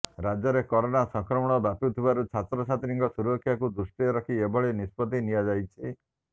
ରାଜ୍ୟରେ କରୋନା ସଂକ୍ରମଣ ବ୍ୟାପୁଥିବାରୁ ଛାତ୍ରଛାତ୍ରୀଙ୍କ ସୁରକ୍ଷାକୁ ଦୃଷ୍ଟିରେ ରଖି ଏଭଳି ନିଷ୍ପତ୍ତି ନିଆଯାଇଛି